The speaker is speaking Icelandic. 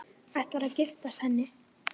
Ætlarðu að giftast henni?